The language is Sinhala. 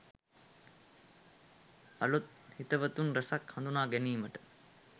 අලුත් හිතවතුන් රැසක් හඳුනා ගැනීමට